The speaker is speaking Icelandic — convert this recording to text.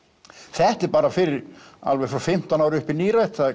þetta er bara fyrir alveg frá fimmtán ára upp í nírætt það